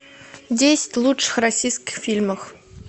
десять лучших российских фильмов